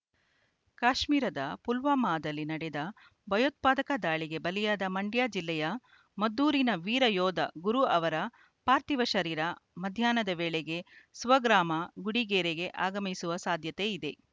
ಕಾಶ್ಮೀರದ ಪುಲ್ವಾಮಾದಲ್ಲಿ ನಡೆದ ಭಯೋತ್ಪಾದಕ ದಾಳಿಗೆ ಬಲಿಯಾದ ಮಂಡ್ಯ ಜಿಲ್ಲೆಯ ಮದ್ದೂರಿನ ವೀರ ಯೋಧ ಗುರು ಅವರ ಪಾರ್ಥಿವ ಶರೀರ ಮಧ್ಯಾಹ್ನದ ವೇಳೆಗೆ ಸ್ವಗ್ರಾಮ ಗುಡಿಗೆರೆಗೆ ಆಗಮಿಸುವ ಸಾಧ್ಯತೆ ಇದೆ